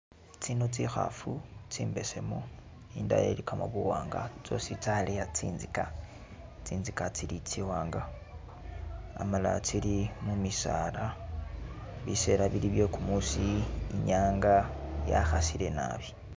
Tsino tsi khafu tsimbesemu, indala ilikamo buwanga tsosi tsaleya tsinzika, tsinzika tsili tsiwanga amala tsili mumisaala, biseela bili bye kumuusi inyanga ya khasile naabil